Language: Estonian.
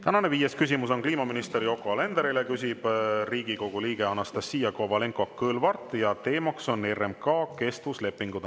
Tänane viies küsimus on kliimaminister Yoko Alenderile, küsib Riigikogu liige Anastassia Kovalenko-Kõlvart ja teema on RMK kestvuslepingud.